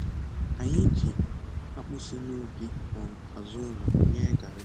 Anyị ji akpụ si nubi um azụ ụlọ yee garrị